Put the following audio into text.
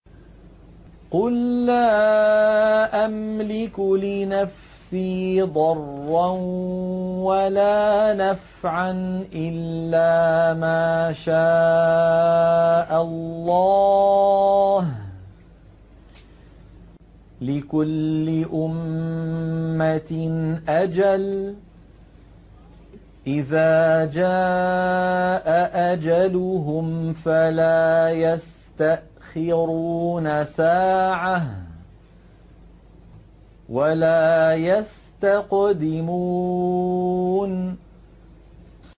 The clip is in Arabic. قُل لَّا أَمْلِكُ لِنَفْسِي ضَرًّا وَلَا نَفْعًا إِلَّا مَا شَاءَ اللَّهُ ۗ لِكُلِّ أُمَّةٍ أَجَلٌ ۚ إِذَا جَاءَ أَجَلُهُمْ فَلَا يَسْتَأْخِرُونَ سَاعَةً ۖ وَلَا يَسْتَقْدِمُونَ